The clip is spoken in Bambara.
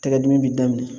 Tɛgɛ dimi b'i daminɛ